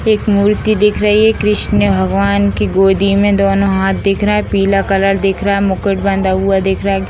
एक मूर्ति दिख रही है कृष्ण भगवान की गोदी में दोनों हाथ दिख रहे हैं पीला कलर दिख रहा है मुकुट बंधा हुआ दिख रहा है।